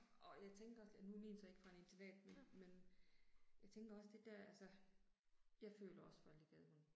Og jeg tænker også at nu er min så ikke fra en internat men men. Jeg tænker også det der altså. Jeg føler også for alle de gadehunde